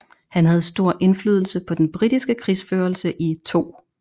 Han havde stor indflydelse på den britiske krigsførelse i 2